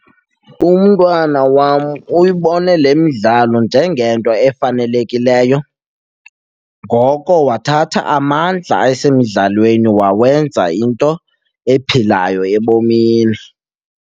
Umntwana wam uyibone le midlalo njengento efanelekileyo, ngoko wathatha amandla asemdlalweni wawenza into ephilayo ebomini.